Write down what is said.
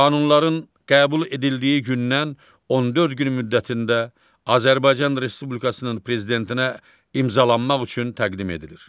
Qanunların qəbul edildiyi gündən 14 gün müddətində Azərbaycan Respublikasının prezidentinə imzalanmaq üçün təqdim edilir.